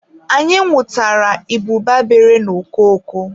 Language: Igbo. Anyị nwụtara ịbụba bere n'okoko.